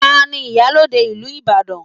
Ta ni iyalode ìlú Ibadan?